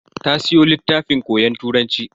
Ta siyo littafin koyon Turanci.